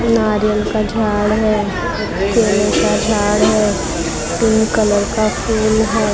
नारियल का झाड़ है केले का झाड़ है पिंक कलर का फूल है।